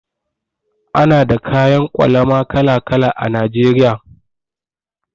Ana da kayan ƙwalama kala-kala a Najeriya.